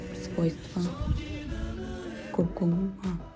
свойства куркуму а